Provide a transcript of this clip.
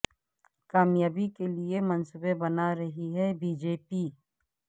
کامیابی کیلئے منصوبے بنا رہی ہے بی جے پی